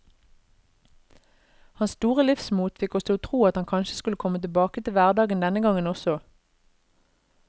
Hans store livsmot fikk oss til å tro at han kanskje skulle komme tilbake til hverdagen denne gangen også.